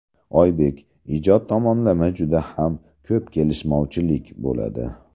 Oybek: Ijod tomonlama juda ham ko‘p kelishmovchilik bo‘ladi.